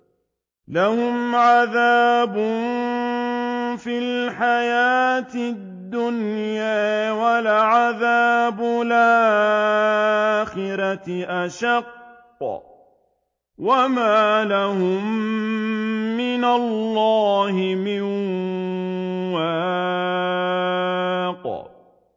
لَّهُمْ عَذَابٌ فِي الْحَيَاةِ الدُّنْيَا ۖ وَلَعَذَابُ الْآخِرَةِ أَشَقُّ ۖ وَمَا لَهُم مِّنَ اللَّهِ مِن وَاقٍ